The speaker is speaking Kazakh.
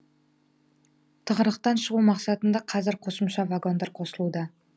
тығырықтан шығу мақсатында қазір қосымша вагондар қосылуда